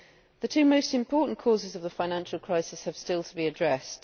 The two most important causes of the financial crisis have still to be addressed.